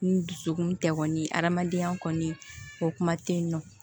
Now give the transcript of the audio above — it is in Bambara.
Ni dusukun tɛ kɔni adamadenya kɔni o kuma tɛ yen nɔ